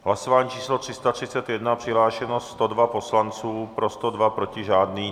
Hlasování číslo 331, přihlášeno 102 poslanců, pro 102, proti žádný.